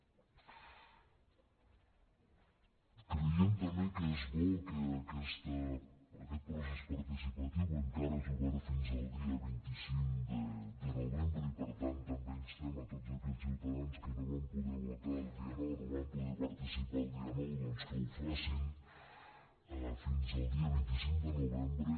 creiem també que és bo que aquest procés participa·tiu que encara és obert fins al dia vint cinc de novembre i per tant també instem a tots aquells ciutadans que no van poder votar el dia nou no hi van poder participar el dia nou doncs que ho facin fins al dia vint cinc de novembre